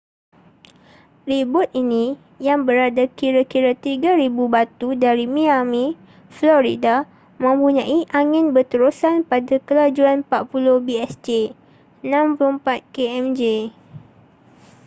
ribut ini yang berada kira-kira 3,000 batu dari miami florida mempunyai angin berterusan pada kelajuan 40 bsj 64 kmj